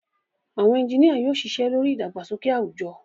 Àwọn ẹ́ńjìnìa yóò ṣiṣẹ́ lórí ìdàgbàsókè àwùjọ